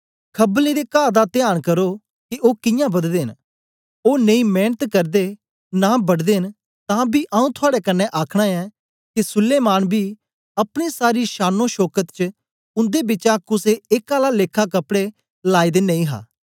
खबलें दे काह दा त्यान करो के ओ कियां बददे न ओ नेई मेंनत करदे नां बढदे न तां बी आऊँ थुआड़े कन्ने आखना ऐ के सुलैमान बी अपने सारी शानोशौकत च उंदे बिचा कुसे एक आला लेखा कपड़े लायदे नेई हा